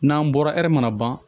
N'an bɔra hɛri mana ban